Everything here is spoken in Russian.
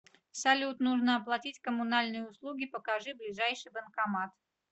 салют нужно оплатить коммунальные услуги покажи ближайший банкомат